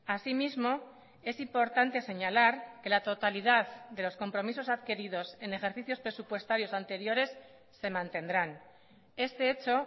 así mismo es importante señalar que la totalidad de los compromisos adquiridos en ejercicios presupuestarios anteriores se mantendrán este hecho